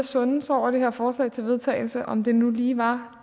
sunde sig over det her forslag til vedtagelse og se om det nu lige var